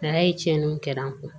A y'a ye tiɲɛniw kɛra an kun